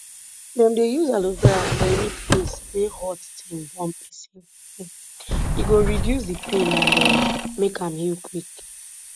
dem dey use aloe vera for any place wey hot thing burn pesin um e go reduce di pain and um make am heal quick